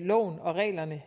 loven og reglerne